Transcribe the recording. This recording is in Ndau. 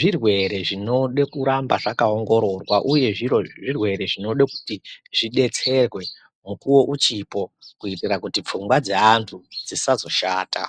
zvirwere zvinoda kuramba zvakaongoroorwa uye zvirwere zvinoda kuti zvidetserwe mukuwo uchipo kuitira kuti pfungwa dzeantu dzisazoshata.